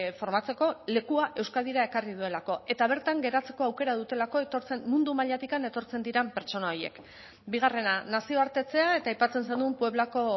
formatzeko lekua euskadira ekarri duelako eta bertan geratzeko aukera dutelako mundu mailatik etortzen diren pertsona horiek bigarrena nazioartetzea eta aipatzen zenuen pueblako